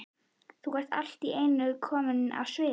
Þú ert allt í einu komin á svið?